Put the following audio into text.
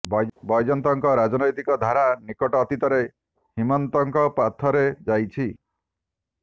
ବୈଜୟନ୍ତଙ୍କ ରାଜନୈତିକ ଧାରା ନିକଟ ଅତୀତରେ ହିମନ୍ତଙ୍କ ପଥରେ ଯାଇଛି